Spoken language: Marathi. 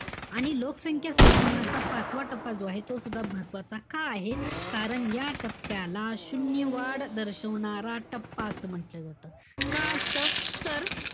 आणि लोकसंख्या संक्रमणाचा पाचवा टप्पा जो आहे. तो सुद्धा महत्वाचा का आहे? कारण या टप्प्याला शून्य वाढ दर्शवणारा टप्पा असं म्हंटल जात. का असत, तर,